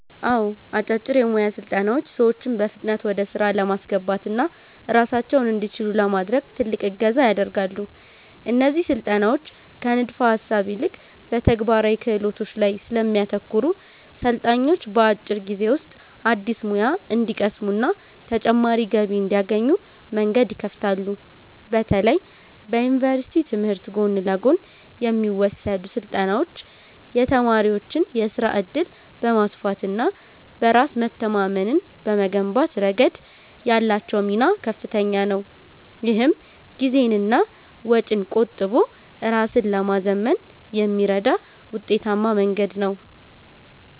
አዎ፣ አጫጭር የሞያ ስልጠናዎች ሰዎችን በፍጥነት ወደ ሥራ ለማስገባትና ራሳቸውን እንዲችሉ ለማድረግ ትልቅ እገዛ ያደርጋሉ። እነዚህ ስልጠናዎች ከንድፈ-ሐሳብ ይልቅ በተግባራዊ ክህሎቶች ላይ ስለሚያተኩሩ፣ ሰልጣኞች በአጭር ጊዜ ውስጥ አዲስ ሙያ እንዲቀስሙና ተጨማሪ ገቢ እንዲያገኙ መንገድ ይከፍታሉ። በተለይ በዩኒቨርሲቲ ትምህርት ጎን ለጎን የሚወሰዱ ስልጠናዎች የተማሪዎችን የሥራ ዕድል በማስፋትና በራስ መተማመንን በመገንባት ረገድ ያላቸው ሚና ከፍተኛ ነው። ይህም ጊዜንና ወጪን ቆጥቦ ራስን ለማዘመን የሚረዳ ውጤታማ መንገድ ነው።